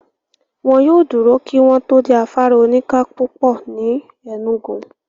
Wọ́n yóò dúró kí wọ́n tó dé afárá oníka púpọ̀ ní Enugu.